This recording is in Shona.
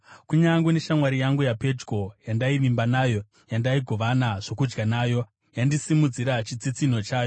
Kunyange neshamwari yangu yapedyo yandaivimba nayo, yandaigovana zvokudya nayo, yandisimudzira chitsitsinho chayo.